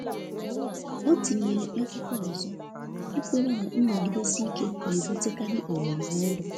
O tinyere akwụkwọ ọzọ, ikwere na nnọgidesi ike na-ebutekarị ohere ọhụrụ